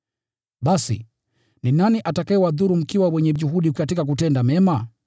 Basi, ni nani atakayewadhuru mkiwa wenye juhudi katika kutenda mema?